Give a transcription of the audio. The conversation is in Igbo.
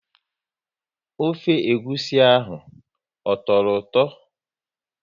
Ofe egwusi ahụ ọ tọrọ ụtọ?